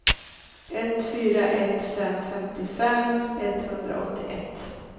ett fyra ett fem femtiofem etthundraåttioett